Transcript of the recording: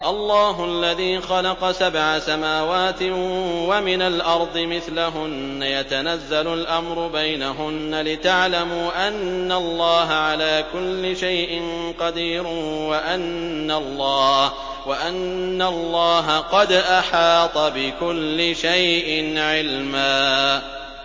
اللَّهُ الَّذِي خَلَقَ سَبْعَ سَمَاوَاتٍ وَمِنَ الْأَرْضِ مِثْلَهُنَّ يَتَنَزَّلُ الْأَمْرُ بَيْنَهُنَّ لِتَعْلَمُوا أَنَّ اللَّهَ عَلَىٰ كُلِّ شَيْءٍ قَدِيرٌ وَأَنَّ اللَّهَ قَدْ أَحَاطَ بِكُلِّ شَيْءٍ عِلْمًا